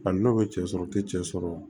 A n'o bɛ cɛ sɔrɔ u tɛ cɛ sɔrɔ